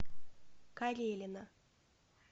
карелина